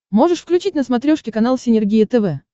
можешь включить на смотрешке канал синергия тв